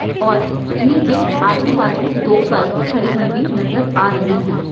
और इनी के आजू-बाजू दो बाइक के खड़ी हुई भी नजर आ रही है।